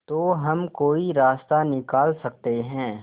तो हम कोई रास्ता निकाल सकते है